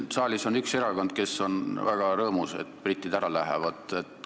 Siin saalis on üks erakond, kes on väga rõõmus, et britid ära lähevad.